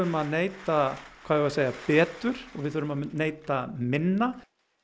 að neyta betur og við þurfum að neyta minna